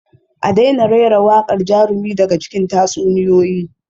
A daina rera waƙar jarumi daga cikin tatsuniyoyi